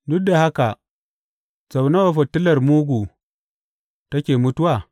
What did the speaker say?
Duk da haka, sau nawa fitilar mugu take mutuwa?